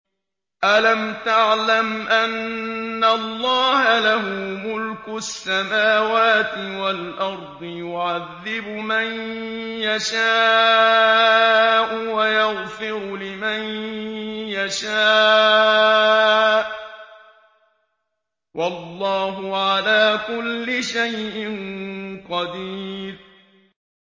أَلَمْ تَعْلَمْ أَنَّ اللَّهَ لَهُ مُلْكُ السَّمَاوَاتِ وَالْأَرْضِ يُعَذِّبُ مَن يَشَاءُ وَيَغْفِرُ لِمَن يَشَاءُ ۗ وَاللَّهُ عَلَىٰ كُلِّ شَيْءٍ قَدِيرٌ